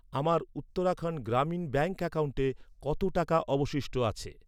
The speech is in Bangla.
আমার উত্তরাখণ্ড গ্রামীণ ব্যাঙ্ক অ্যাকাউন্টে কত টাকা অবশিষ্ট আছে?